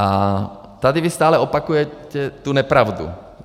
A tady vy stále opakujete tu nepravdu.